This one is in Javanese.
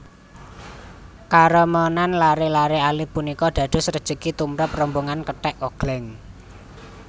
Karemenan laré laré alit punika dados rejeki tumrap rombongan kethèk ogléng